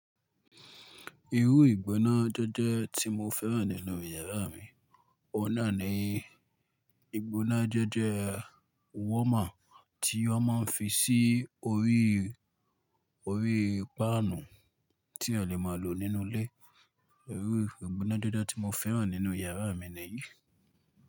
Irú ìgbóná jẹ́jẹ́ tí mo fẹ́ràn nínú yàrá mi, ọ̀nà ni ìgbóná jẹ́jẹ́ warmer tí wọ́n máa ń fi sí orí, orí páànù tí ẹyan lè máa lò nínú ilé. Irú ìgbóná jẹ́jẹ́ tí mo fẹ́ràn nínú yàrá mi nìyí.